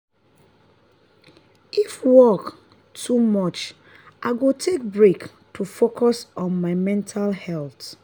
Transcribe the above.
if work too much i go take break to focus on my mental health.